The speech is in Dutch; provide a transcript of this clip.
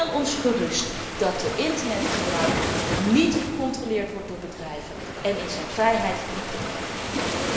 Stel ons gerust dat de internetgebruiker niet gecontroleerd wordt door bedrijven en in zijn vrijheid niet beperkt wordt.